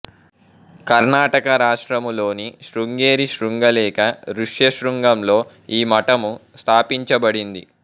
కర్ణాటక రాష్ట్రములోని శృంగేరి శృంగ లేక ఋష్యశృంగలో ఈ మఠము స్థాపించబడింది